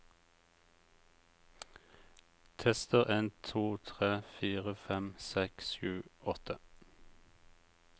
Tester en to tre fire fem seks sju åtte